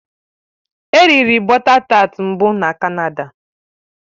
È riri bọta tat mbụ na Canada